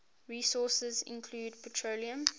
resources include petroleum